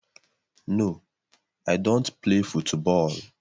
No, I don't play fụtbọol